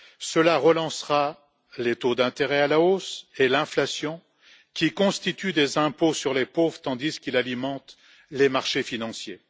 Cela relancera les taux d'intérêt à la hausse et l'inflation qui constituent des impôts sur les pauvres tandis qu'ils alimentent les marchés financiers.